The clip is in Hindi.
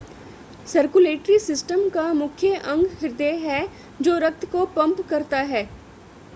सर्कुलेटरी सिस्टम का मुख्य अंग हृदय है जो रक्त को पंप करता है